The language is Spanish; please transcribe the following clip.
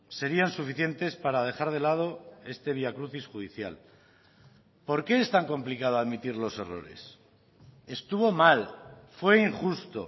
serían suficientes para dejar de lado este vía crucis judicial por qué es tan complicado admitir los errores estuvo mal fue injusto